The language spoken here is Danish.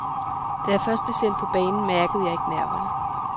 Da jeg først blev sendt på banen, mærkede jeg ikke nerverne.